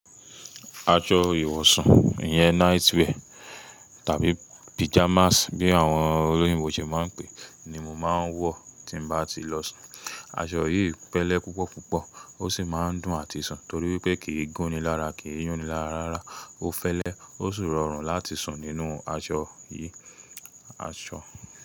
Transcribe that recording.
Aṣọ ìwọ̀sun ìyẹn night wear tàbí pyjamas bí àwọn olóyìnbo ṣe máa ń pè é ni mo máa ń wọ̀ tí n bá ti lọ sùn. Aṣọ yìí fẹ́lẹ́ púpọ̀púpọ̀ ó sì máa ń dùn àti sùn torí wípé kì í gún ni lára kì í yún ni lára rárá. Ó fẹ́lẹ́ ó sì rọrùn láti sùn nínú aṣọ yìí. Aṣọ.